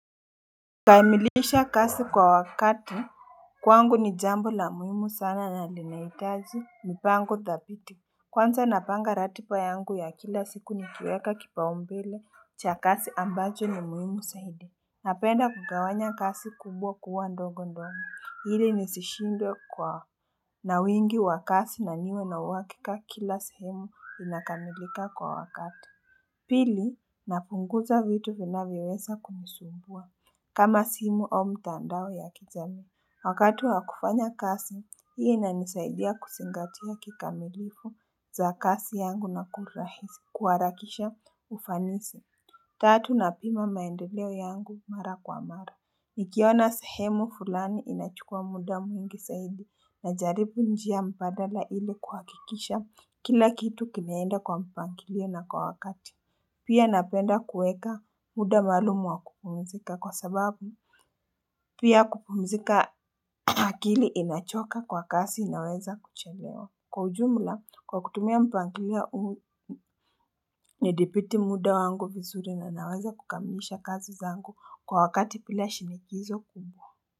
Kukamilisha kai kwa wakati kwangu ni jambo la muhimu sana na linahitaji mpango thabiti Kwanza napanga ratiba yangu ya kila siku nikiweka kipaombele cha kazi ambazo ni muhimu zaidi Napenda kugawanya kazi kumbwa kuwa ndogo ndogo ili nisishindwe kwa na wingi wa kazi na niwe na uhakika kila sehemu inakamilika kwa wakati Pili napunguza vitu vinavyoweza kunisumbua kama simu au mitandao ya kijamii. Wakati wa kufanya kazi, huwa inanisaidia kuzingatia kikamilifu za kazi yangu na kurahisisha. Kuharakisha ufanisi. Tatu napima maendeleo yangu mara kwa mara. Nikiona sehemu fulani inachukua muda mwingi zaidi na jaribu njia mbadala ili kuhakikisha kila kitu kinaenda kwa mpangilio na kwa wakati. Pia napenda kuweka muda maalumu wa kupumzika kwa sababu Pia kupumzika akili inachoka kwa kazi inaweza kuchelewa Kwa ujumla kwa kutumia mpangilia nidhibiti muda wangu vizuri na naweza kukamilisha kazi zangu kwa wakati bila shinikizo kumbwa.